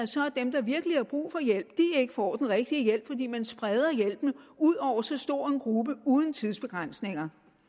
virkelig har brug for hjælp ikke får den rigtige hjælp fordi man spreder hjælpen ud over så stor en gruppe uden tidsbegrænsning